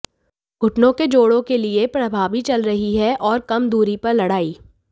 घुटने के जोड़ों के लिए प्रभावी चल रही है और कम दूरी पर लड़ाई